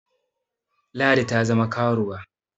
Ladi ta zama karuwa